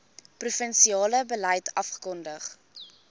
provinsiale beleid afgekondig